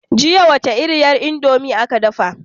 Jiya wace iriyar indomie aka dafa ma?